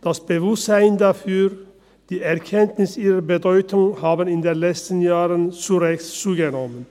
Das Bewusstsein dafür und die Erkenntnis bezüglich ihrer Bedeutung haben in den letzten Jahren zu Recht zugenommen.